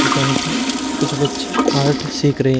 जहां पर कुछ बच्चे कार्ड सिख रहे--